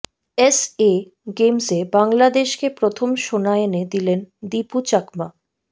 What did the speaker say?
SA গেমসে বাংলাদেশকে প্রথম সোনা এনে দিলেন দিপু চাকমা